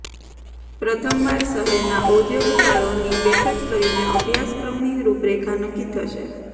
પ્રથમ વાર શહેરના ઉદ્યોગકારોની બેઠક કરીને અભ્યાસક્રમની રૃપરેખા નક્કી થશે